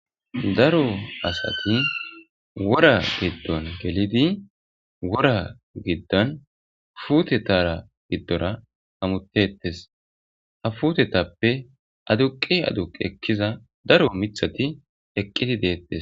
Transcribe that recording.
Daro asati wora giddon gelidi wora giddan futetara giddora amutettes ha futetappe aduqi aduq ekkiza daro mithati eqqidi deettes.